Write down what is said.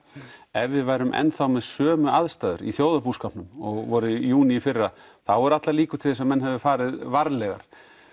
ef við værum enn með sömu aðstæður í þjóðarbúskapnum og var í júní í fyrra þá eru allar líkur til þess að menn hefðu farið varlegar